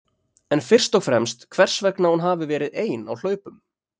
En fyrst og fremst hvers vegna hún hafi verið ein á hlaupum?